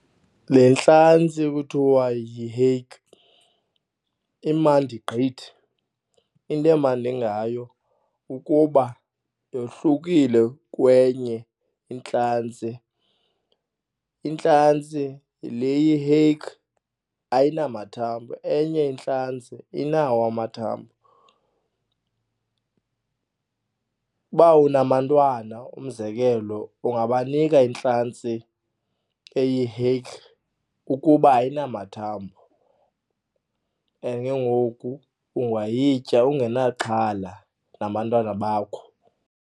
Le ntlantsi kuthiwa yi-hake imandi gqithi. Into emandi ngayo kukuba yohlukile kwenye intlantsi. Intlantsi le iyi-hake ayinamathambo, enye intlantsi inawo amathambo. Uba unabantwana umzekelo ungabanika intlantsi eyi-hake ukuba ayinamathambo and ke ngoku ungayitya ungenaxhala nabantwana bakho.